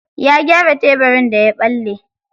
Ya gyara tebirin daya ɓalle.